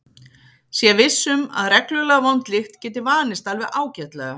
Sé viss um að reglulega vond lykt geti vanist alveg ágætlega.